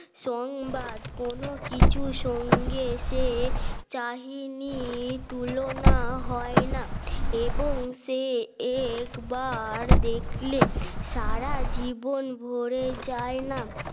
সংবাদ কোন কিছু সঙ্গে এসে কাহিনী তুলনা হয় না এবং সে একবার দেখলে সারা জীবন ভরে যায় না